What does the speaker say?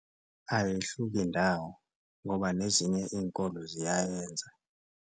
Ayihluki ndawo ngoba nezinye iy'nkolo ziyayenza.